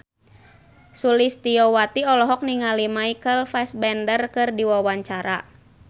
Sulistyowati olohok ningali Michael Fassbender keur diwawancara